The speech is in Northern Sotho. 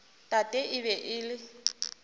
tate e be e le